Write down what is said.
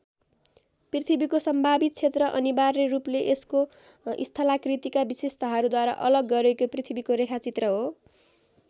पृथ्वीको सम्भावित क्षेत्र अनिवार्य रूपले यसको स्थलाकृतिका विशेषताहरूद्वारा अलग गरिएको पृथ्वीको रेखा चित्र हो।